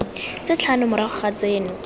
tse tlhano morago ga tseno